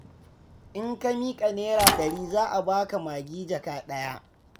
In ka miƙa Naira ɗari za a ba ka magi jaka ɗaya.